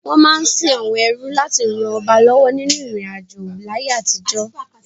Wọ́n máa ń sin àwọn ẹrú láti ràn ọba lọ́wọ́ nínú ìrìnàjò láyé àtijọ́.